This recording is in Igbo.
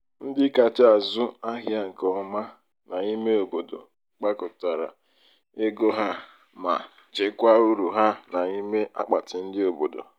ndị kacha azụ ahịa nke ọma n'ime obodo kpakọtara ego ha ma chekwaa uru ha n'ime akpati ndị obodo.